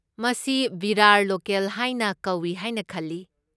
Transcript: ꯃꯁꯤ ꯚꯤꯔꯥꯔ ꯂꯣꯀꯦꯜ ꯍꯥꯏꯅ ꯀꯧꯏ ꯍꯥꯏꯅ ꯈꯜꯂꯤ꯫